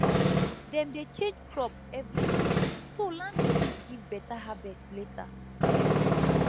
dem dey change crop every season so land go fit give better harvest later